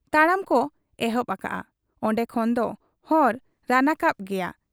ᱛᱟᱲᱟᱢ ᱠᱚ ᱮᱦᱚᱵ ᱟᱠᱟᱜ ᱟ ᱾ ᱚᱱᱰᱮ ᱠᱷᱚᱱ ᱫᱚ ᱦᱚᱨ ᱨᱟᱱᱟᱠᱟᱵ ᱜᱮᱭᱟ ᱾